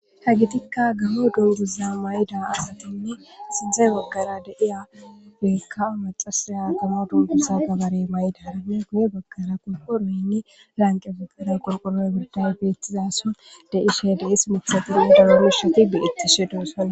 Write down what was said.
Ha gitikka gaho donduza mayda asatinne sindzey baggara deiya beykka macasaya aatama dungursa gabarey may'da aranna gu'e baggara konko roynni lanqe fagaray qolqoroy birday beettizaso deishe deis mithatinne darorishoti beettishe doosalo.